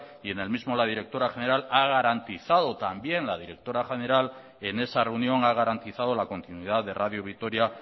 y en el mismo la directora general ha garantizado también en esa reunión la continuidad de radio vitoria